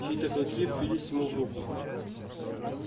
чьи то клыки впились ему в руку